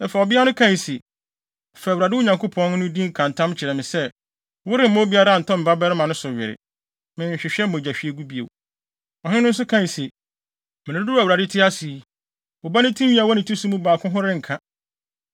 Afei, ɔbea no kae se, “Fa Awurade, wo Nyankopɔn, no din ka ntam kyerɛ me sɛ, woremma obiara ntɔ me babarima no so were. Menhwehwɛ mogyahwiegu bio.” Ɔhene no nso kae se, “Mmere dodow a Awurade te ase yi, wo ba no tinwi a ɛwɔ ne ti so mu baako mpo ho renka.”